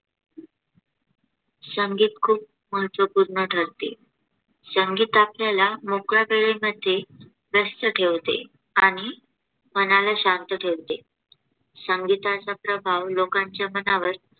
संगीत खुप महत्त्वपूर्ण ठरते. संगीत आपल्याला मोकळ्या वेळे मधे व्यस्त ठेवते आणि मनाला शांत ठेवते. संगीताचा प्रभाव लोकांच्या मनावर